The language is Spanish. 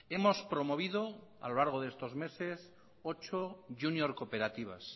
hemos promovido a lo largo de estos meses ocho júnior cooperativas